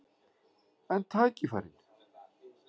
En tækifærin?